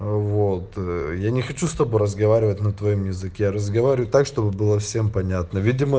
вот я не хочу с тобой разговаривать на твоём языке разговаривай так чтобы было всем понятно видимо